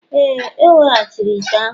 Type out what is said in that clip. Ee, o weghachiri ite ahụ